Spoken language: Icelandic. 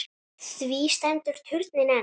Því stendur turninn enn.